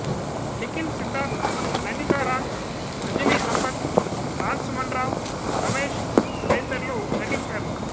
నిఖిల్ సిద్ధార్థ్ నందిత రాజ్ అంజలి సంపత్ రాజ్ సుమన్ రావు రమేశ్ తదితరులు నటించారు